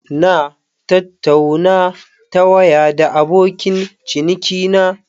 Na tattauna ta waya da abokin cinikina.